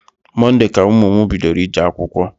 Monde ka ụmụ m bidoro ije akwụkwọ